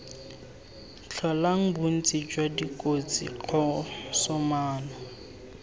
tlholang bontsi jwa dikotsi kgosomano